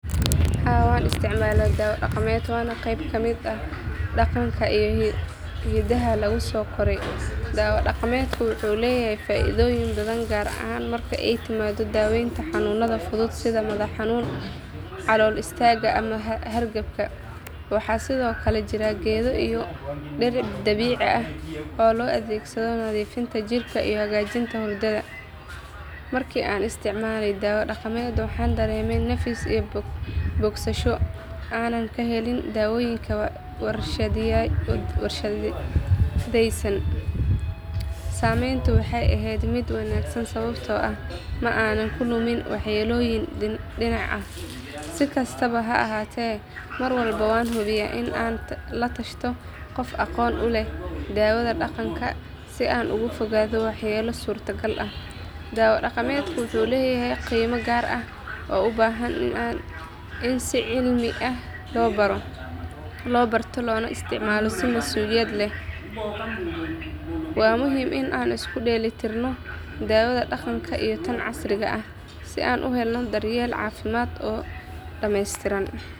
Haa waan isticmaalaa dawo dhaqameed waana qayb ka mid ah dhaqanka iyo hidaha lagu soo koray. Dawo dhaqameedku wuxuu leeyahay faa'iidooyin badan gaar ahaan marka ay timaado daaweynta xanuunada fudud sida madax xanuunka, calool istaagga ama hargabka. Waxaa sidoo kale jira geedo iyo dhir dabiici ah oo loo adeegsado nadiifinta jirka iyo hagaajinta hurdada. Markii aan isticmaalay dawo dhaqameed waxaan dareemay nafis iyo bogsasho aanan ka helin dawooyinka warshadaysan. Saameyntu waxay ahayd mid wanaagsan sababtoo ah ma aanan la kulmin waxyeelooyin dhinac ah. Si kastaba ha ahaatee mar walba waan hubiyaa in aan la tashado qof aqoon u leh daawada dhaqanka si aan uga fogaado waxyeello suurtagal ah. Dawo dhaqameedku wuxuu leeyahay qiime gaar ah oo u baahan in si cilmi ah loo barto loona isticmaalo si masuuliyad leh. Waa muhiim in aan isku dheelitirno daawada dhaqanka iyo tan casriga ah si aan u helno daryeel caafimaad oo dhamaystiran.